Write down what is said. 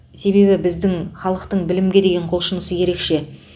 себебі біздің халықтың білімге деген құлшынысы ерекше